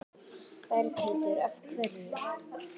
Berghildur: Hverju?